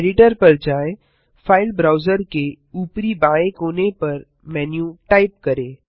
editor पर जाएँ file browser के ऊपरी बाएँ कोने पर मेनू टाइप करें